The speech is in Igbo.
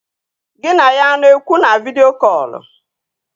Gị na ya a na-ekwu na vidịo kọlụ?